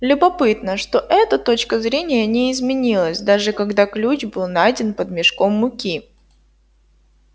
любопытно что эта точка зрения не изменилась даже когда ключ был найден под мешком муки